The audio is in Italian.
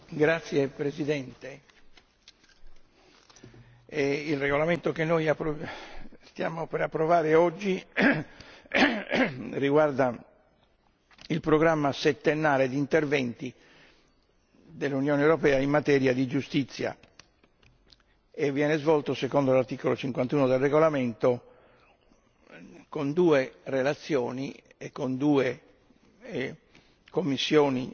Signor Presidente, onorevoli colleghi, il regolamento che stiamo per approvare oggi riguarda il programma settennale di interventi dell'Unione europea in materia di giustizia e viene svolto secondo l'articolo 51 del regolamento con due relazioni e con due commissioni